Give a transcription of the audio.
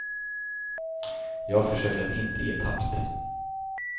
Jag försöker att inte ge tappt.